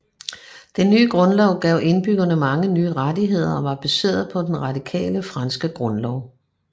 Den nye grundlov gav indbyggerne mange nye rettigheder og var baseret på den radikale franske grundlov